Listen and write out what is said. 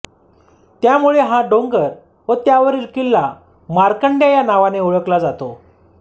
त्यामुळे हा डोंगर व त्यावरील किल्ला मार्कंड्या या नावाने ओळखला जातो